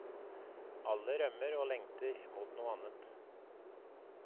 Alle rømmer og lengter mot noe annet.